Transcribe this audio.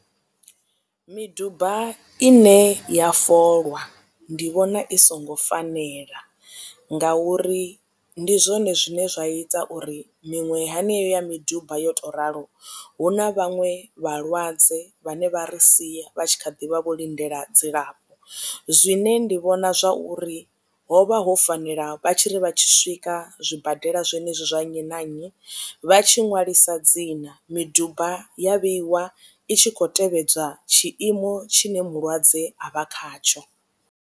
Miduba ine ya folwa ndi vhona i songo fanela nga uri ndi zwone zwine zwa ita uri miṅwe hani yeyo ya miduba yo tou ralo hu na vhaṅwe vhalwadze vhane vha ri sia vha tshi kha ḓivha vho lindela dzilafho. Zwine ndi vhona zwa uri ho vha ho fanela vha tshiri vha tshi swika zwibadela zwenezwi zwa nnyi na nnyi vha tshi ṅwalisa dzina miduba ya vheiwa i tshi khou tevhedzwa tshiimo tshine mulwadze a vha khatsho.